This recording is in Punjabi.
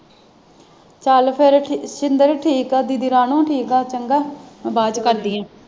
ਚਲ ਫਿਰ ਸ਼ਿੰਦਰ ਠੀਕ ਆ ਦੀਦੀ ਰਾਣੋ ਠੀਕ ਆ ਚੰਗਾ ਮੈਂ ਬਾਅਦ ਵਿਚ ਕਰਦੀ ਆ